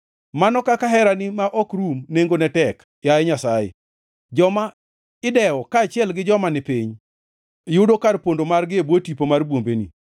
Mano kaka herani ma ok rum nengone tek, yaye Nyasaye! Joma idewo kaachiel gi joma ni piny yudo kar pondo margi e bwo tipo mar bwombeni.